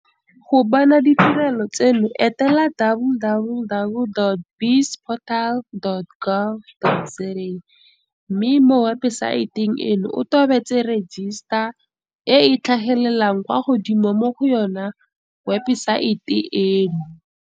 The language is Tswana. Go bona ditirelo tseno etela www.bizportal.gov.za mme mo webesaeteng eno o tobetse 'register' e e tlhagelelang kwa godimo mo go yona webesaete eno.